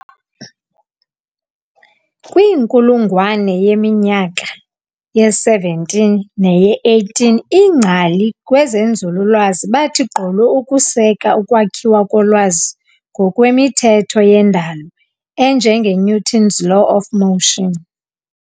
kwinkulungwane yeminyaka ye-17 neye-18 iingcali kwezenzululwazi bathi gqolo ukuseka ukwakhiwa kolwazi ngokwe "mithetho yendalo" enjengeNewton's laws of motion.